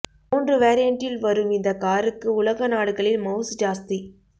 மூன்று வேரியன்டில் வரும் இந் காருக்கு உலக நாடுகளில் மவுசு ஜாஸ்தி